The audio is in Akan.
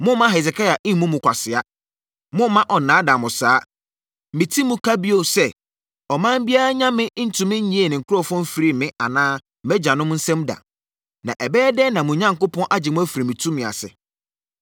Mommma Hesekia mmu mo kwasea. Mommma ɔnnaadaa mo saa! Meti mu, ka bio sɛ, ɔman biara nyame ntumi nnyee ne nkurɔfoɔ mfirii me anaa mʼagyanom nsam da. Na ɛbɛyɛ dɛn na mo Onyankopɔn agye mo afiri me tumi ase!”